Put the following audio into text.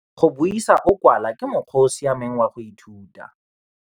Go buisa o kwala ke mokgwa o o siameng wa go ithuta.